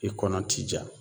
I kɔnɔ ti ja.